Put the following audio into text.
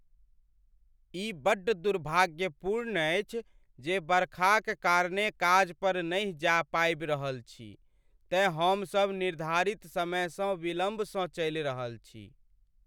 ई बड्ड दुर्भाग्यपूर्ण अछि जे बरखाक कारणेँ काज पर नहि जा पाबि रहल छी तेँ हमसभ निर्धारित समयसँ विलम्बसँ चलि रहल छी ।